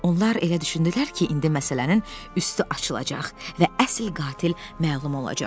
Onlar elə düşündülər ki, indi məsələnin üstü açılacaq və əsl qatil məlum olacaq.